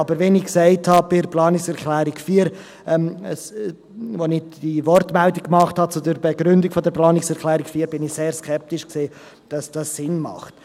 Aber wie ich beim Begründen der Planungserklärung 4 gesagt habe, war ich sehr skeptisch, ob dies Sinn macht.